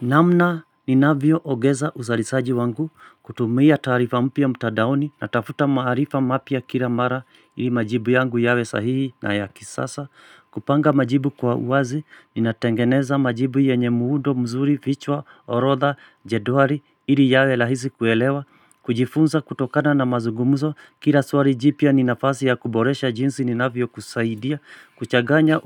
Namna ninavyo ogeza uzarisaji wangu kutumia taarifa mpya mtandaoni na tafuta maarifa mapya kila mara ili majibu yangu yawe sahihi na ya kisasa. Kupanga majibu kwa uazi, ninatengeneza majibu yenye muudo mzuri vichwa orodha jedwali ili yawe rahisi kuelewa. Kujifunza kutokana na mazugumuzo Kila swali jipya ninafasi ya kuboresha jinsi ninafyo kusaidia Kuchaganya